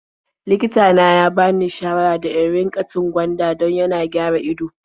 Likita na ya bani shawara da in riƙa cin gwanda dan tana gyara ido.